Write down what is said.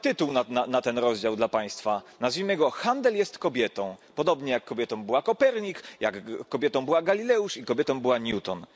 mam nawet tytuł na ten rozdział dla Państwa, nazwijmy go Handel jest kobietą, podobnie jak kobietą była Kopernik, jak kobietą była Galileusz i kobietą była Newton.